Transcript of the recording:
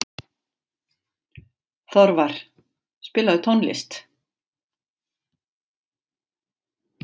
Þorvar, spilaðu tónlist.